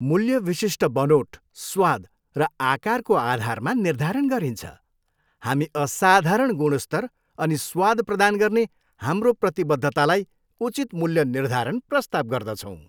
मूल्य विशिष्ट बनोट, स्वाद र आकारको आधारमा निर्धारण गरिन्छ। हामी असाधारण गुणस्तर अनि स्वाद प्रदान गर्ने हाम्रो प्रतिबद्धतालाई उचित मूल्य निर्धारण प्रस्ताव गर्दछौँ।